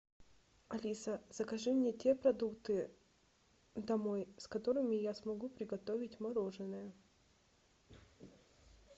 алиса закажи мне те продукты домой с которыми я смогу приготовить мороженое